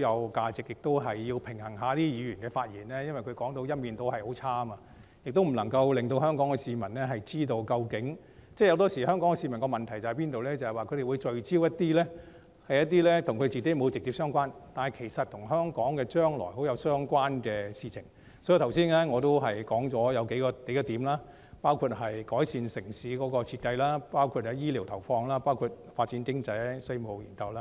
有價值外，亦要平衡一下議員的發言，因為他們一面倒地作出負面批評，不能夠讓香港市民知道究竟......香港市民往往聚焦於一些與自己不直接相關、但與香港將來息息相關的事情，所以我剛才指出了數點，包括改善城市設計、醫療投放、發展經濟、稅務研究。